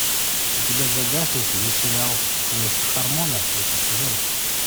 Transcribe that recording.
у тебя в загашнике есть сериал квест хармона третий сезон